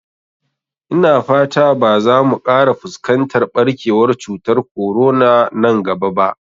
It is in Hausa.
Ina fata ba za mu ƙara fuskantar ɓarkewar cutar korona nan gaba ba